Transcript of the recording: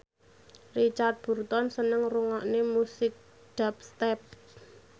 Richard Burton seneng ngrungokne musik dubstep